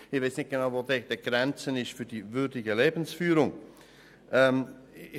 » Ich weiss nicht, wo denn genau die Grenze zu einer würdigen Lebensführung liegt.